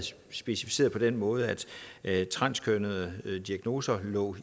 specificeret på den måde at transkønnede diagnoser lå